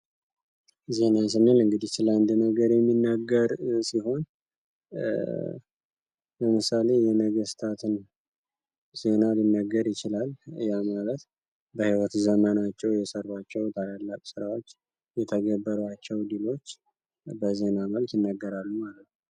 ዜና ስንል እንግዲህ ስለ አንድ ነገር የሚናገር ሲሆን ለምሳሌ የነገስታትን ዜና ሊነገር ይችላል። ያ ማለት በህይወት ዘመናቸዉ የሰሯቸዉ ታላላቅ ስራዎች የተገበሯቸዉ ድሎች በዜና መልክ ይነገራል ማለት ነዉ።